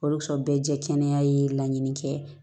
Oson bɛɛ jɛkɛnɛya ye laɲini kɛ